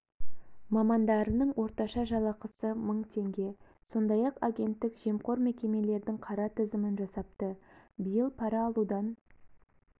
мамандарының орташа жалақысы мың теңге сондай-ақ агенттік жемқор мекемелердің қара тізімін жасапты биыл пара алудан